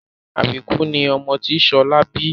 Àbíkú ni ọmọ tí Ṣọlá bí